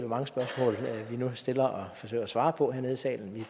mange spørgsmål vi nu stiller og forsøger at svare på hernede i salen